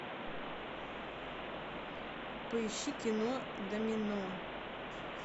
поищи кино домино